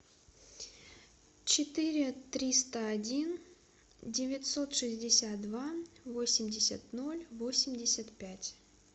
четыре триста один девятьсот шестьдесят два восемьдесят ноль восемьдесят пять